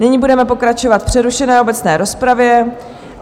Nyní budeme pokračovat v přerušené obecné rozpravě.